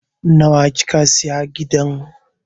Nawa kika sayi gidan?